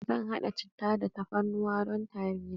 Zan haɗa cittah da tafarnuwa don tari na.